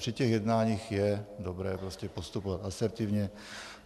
Při těch jednáních je dobré prostě postupovat asertivně.